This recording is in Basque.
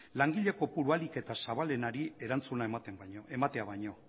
langile kopuru ahalik eta zabalenari erantzuna ematea baino